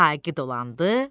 Saqi dolandı,